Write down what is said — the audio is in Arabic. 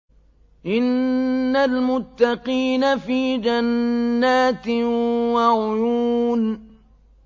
إِنَّ الْمُتَّقِينَ فِي جَنَّاتٍ وَعُيُونٍ